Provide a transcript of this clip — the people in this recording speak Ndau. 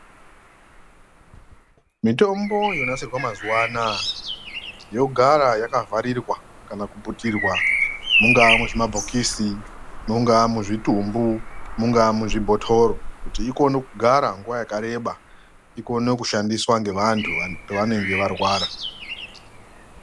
Mitombo yonasirwa mazuwa anaya, yogara yakavharirwa kana kuputirwa mungaa muzvimabhokisi, mungaa muzvitumbu, mungaa muzvibhotoro kuti ikone kugara nguva yakareba, ikone kushandiswa ngevantu pevanenge varwara.